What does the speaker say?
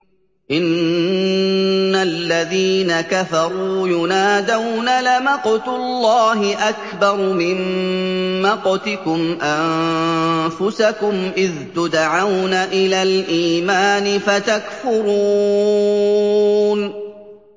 إِنَّ الَّذِينَ كَفَرُوا يُنَادَوْنَ لَمَقْتُ اللَّهِ أَكْبَرُ مِن مَّقْتِكُمْ أَنفُسَكُمْ إِذْ تُدْعَوْنَ إِلَى الْإِيمَانِ فَتَكْفُرُونَ